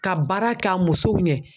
Ka baara kɛ a musow ɲɛ.